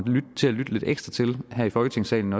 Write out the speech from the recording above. til at lytte lidt ekstra til her i folketingssalen